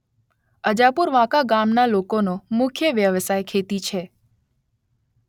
અજાપુર વાંકા ગામના લોકોનો મુખ્ય વ્યવસાય ખેતી છે